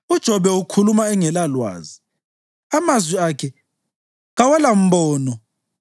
‘UJobe ukhuluma engelalwazi; amazwi akhe kawalambono.’